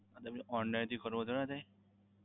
એટલે online થી કરવું હોય તો ના થાય?